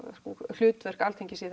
hlutverk Alþingis í